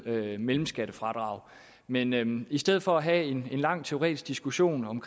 mellemskattefradrag men men i stedet for at have en lang teoretisk diskussion om